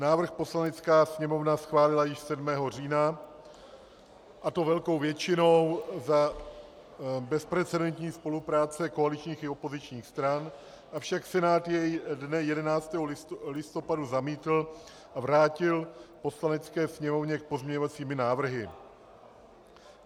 Návrh Poslanecká sněmovna schválila již 7. října, a to velkou většinou za bezprecedentní spolupráce koaličních i opozičních stran, avšak Senát jej dne 11. listopadu zamítl a vrátil Poslanecké sněmovně s pozměňovacími návrhy.